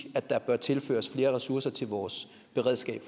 at der bør tilføres flere ressourcer til vores beredskab